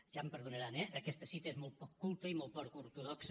ja em perdonaran eh aquesta cita és molt poc culta i molt poc ortodoxa